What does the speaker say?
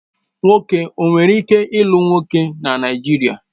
Nwoke ọ nwere ike lụ nwoke na Naijiria?